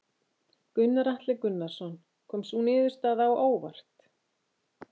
Gunnar Atli Gunnarsson: Kom sú niðurstaða á óvart?